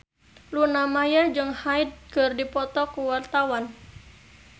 Luna Maya jeung Hyde keur dipoto ku wartawan